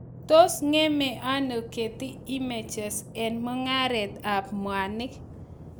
Tos ng'emei ano Getty images eng Mung'areet ab mwanik